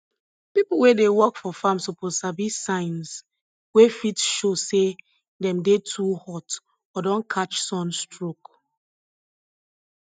people wey dey work for farm suppose sabi signs wey fit show say dem dey too hot or don catch sun stroke